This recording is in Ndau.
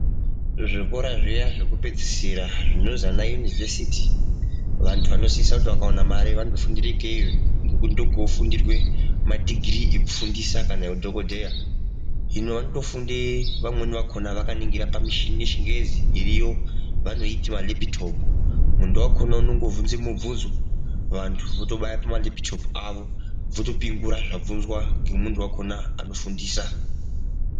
Zvikora zviya zvekupedzisira zvinozi ana Yunivhesiti vantu vanosisira kuti vakaona mari vanotofundire ikeyo ngekuti ndiko kunofundirwe madhigiri ekufundisa kana eudhokodheya. Hino anotofunde vamweni vakona vakaningira pamishini yechingezi iriyo vanoiti malepitopu. Muntu wakona unongobvunze mubvunzo vantu votobaya pamalepitopu awo votopingura zvabvunzwa ngemuntu wakona anofundisa.